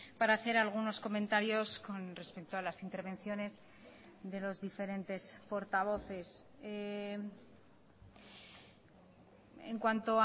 para hacer algunos comentarios con respecto a las intervenciones de los diferentes portavoces en cuanto